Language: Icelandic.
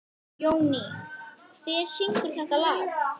Jóný, hver syngur þetta lag?